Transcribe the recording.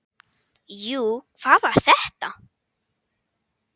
Jú, hvað var þetta?